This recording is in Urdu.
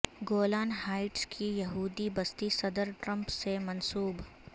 گولان ہائٹس کی یہودی بستی صدر ٹرمپ سے منسوب